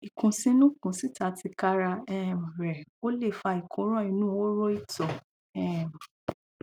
ìkùnsínú kùnsíta tika ra um rẹ ò lè fa ìkóràn inú horo ìtọ um